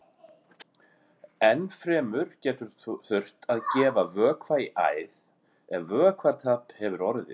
Enn fremur getur þurft að gefa vökva í æð ef vökvatap hefur orðið.